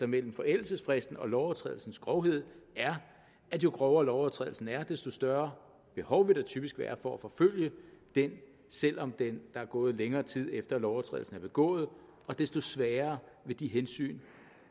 mellem forældelsesfristen og lovovertrædelsens grovhed er at jo grovere lovovertrædelsen er desto større behov vil der typisk være for at forfølge den selv om der er gået længere tid efter at lovovertrædelsen er begået og desto svagere vil de hensyn